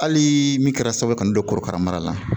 Hali min kɛra sababu ye ka n don korokara mara la